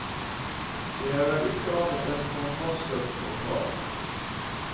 Det er vel ikke annet enn kontantstøtten å ta av.